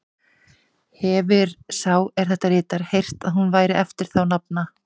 Hefir sá, er þetta ritar, heyrt, að hún væri eftir þá nafna